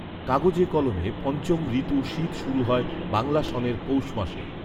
কাগজে কলমে পঞ্চম ঋতু শীত শুরু হয় বাংলা সনের পৌষ মাসে